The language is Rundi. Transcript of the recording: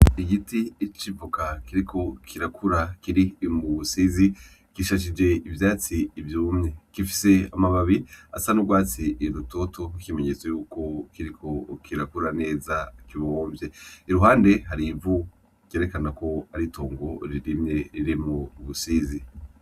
Igiti c'ivoka kiriko kirakura kiri mubusizi gishashije ivyatsi vyumye, gifise amababi asa n'ugwatsi rutoto ikimenyetso yuko kiriko kirakura neza kibonvye. iruhande harivu ryerekanako aritongo ririmye ririmwo ubusizi.